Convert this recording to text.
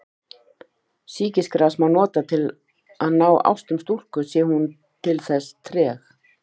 Sýkisgras má nota til að ná ástum stúlku sé hún til þess treg.